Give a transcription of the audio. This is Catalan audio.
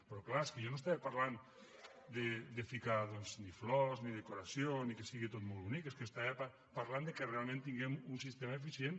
però és clar és que jo no estava parlant de ficar doncs ni flors ni decoració ni que sigui tot molt bonic és que estava parlant que realment tinguem un sistema eficient